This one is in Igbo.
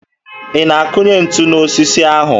Ị na-akụnye ntu n'osisi ahụ?